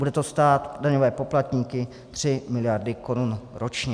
Bude to stát daňové poplatníky tři miliardy korun ročně.